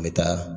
N bɛ taa